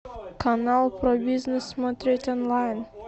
канал про бизнес смотреть онлайн